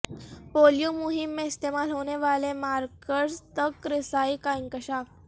polio مہم میں استعمال ہونے والے مارکرز تک رسائی کا انکشاف